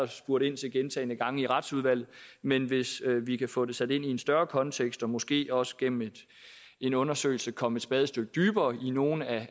spurgt ind til gentagne gange i retsudvalget men hvis vi kan få det sat ind i en større kontekst og måske også gennem en undersøgelse komme et spadestik dybere i nogle af